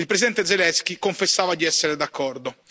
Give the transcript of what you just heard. Il presidente Zelensky confessava di essere d'accordo.